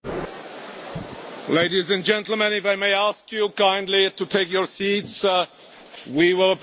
Ladies and gentlemen, if I may ask you kindly to take your seats, we will proceed with the votes.